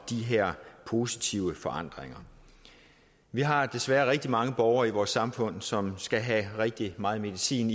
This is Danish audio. positive forandringer vi har desværre rigtig mange borgere i vores samfund som skal have rigtig meget medicin